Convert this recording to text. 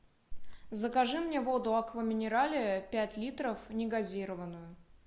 закажи мне воду аква минерале пять литров негазированную